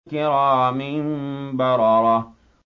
كِرَامٍ بَرَرَةٍ